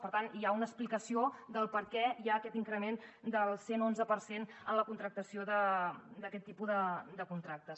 per tant hi ha una explicació del perquè hi ha aquest increment del cent onze per cent en la contractació d’aquest tipus de contractes